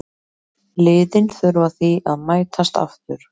Liðin þurfa því að mætast aftur.